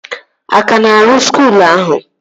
A ka na-arụ skuul ahụ?